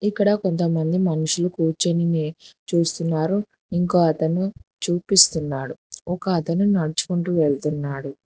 ఇక్కడ కొంతమంది మనుషులు కూర్చొని చూస్తున్నారు ఇంకోతను చూపిస్తున్నాడు ఒకతను నడుచుకుంటు వెళ్తున్నాడు.